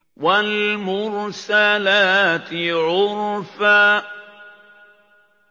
وَالْمُرْسَلَاتِ عُرْفًا